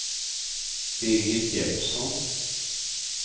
Birgit Jeppsson